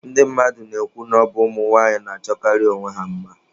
Ndị mmadụ na-ekwu na ọ bụ ụmụnwaanyị na-achọkarị onwe ha mma.